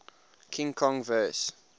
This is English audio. king kong vs